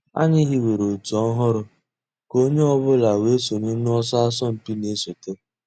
Ànyị̀ hìwèrè ọ̀tù òhụ́rù kà ònyè ọ̀ bula wée sọǹyé n'ọ̀sọ̀ àsọ̀mpị̀ nà-èsọ̀té.